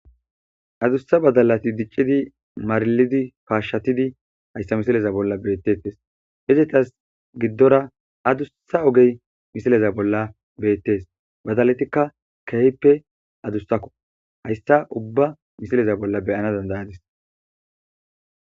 Addusa badalayi dicciddi marilidi kashshatidd hayissa missileza bolla betetees.izetas gidora adusa ogeyi missileza bolla betees.badalatikka kehippe adussakko.hayissa ubba missileza bolla be'anawu danida'adiss.